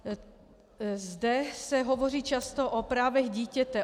Zde se hovoří často o právech dítěte.